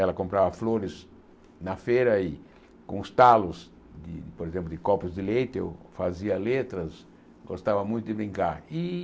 Ela comprava flores na feira e com os talos, e por exemplo, de copos de leite, eu fazia letras, gostava muito de brincar. E